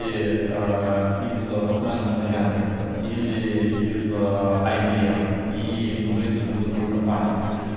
и из-за топ менеджмента яндекса или из айбиэм и назовите любую другую компанию